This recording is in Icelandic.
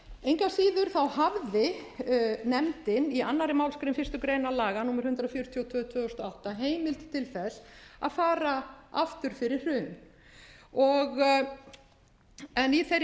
að síður hafði nefndin í annarri málsgrein fyrstu grein laga númer hundrað fjörutíu og tvö tvö þúsund og átta heimild til að fara aftur fyrir hrun en í þeirri